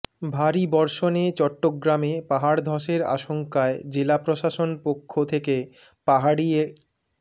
ভারী বর্ষণে চট্টগ্রামে পাহাড় ধসের আশঙ্কায় জেলা প্রশাসন পক্ষ থেকে পাহাড়ি এ